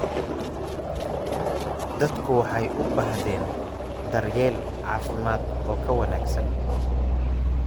Dadku waxay u baahdeen daryeel caafimaad oo ka wanaagsan.